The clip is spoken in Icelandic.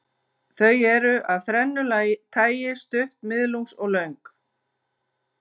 Þau eru af þrennu tagi, stutt, miðlungs og löng.